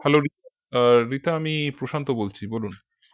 hello রি আহ রিতা আমি প্রশান্ত বলছি বলুন